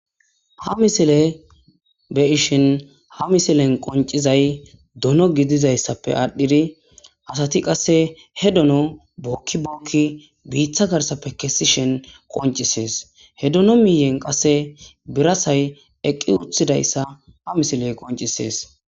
Ha misile be ishin ha misilen qoncizay dono gidizayssappe aadhdhidi asati qasse he dono bookki bookki biiththa garsappe kessi shen qoncisees he dono miyen qasse birasay eqqi uthidayssa ha misiley qoncisees.